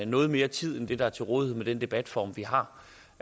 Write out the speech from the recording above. noget mere tid end det der er til rådighed med den debatform vi har